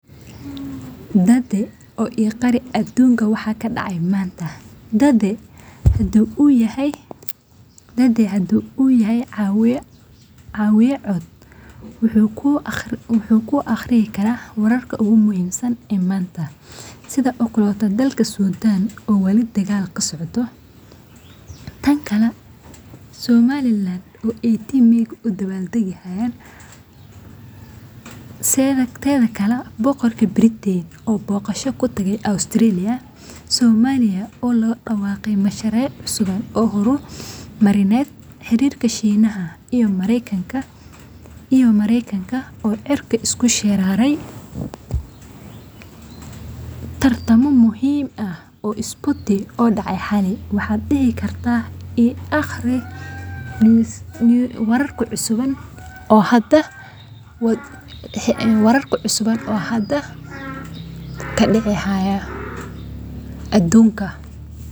dade oo ii aqri adunka waxa kadacay manta